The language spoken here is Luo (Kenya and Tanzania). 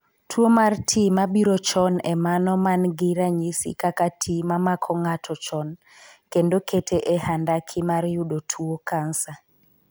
Tuo mar tii mabiro chon e mano man gi ranyisi kaka ti mamako ng'ato chon kendo kete e handaki mar yudo tuo cancer.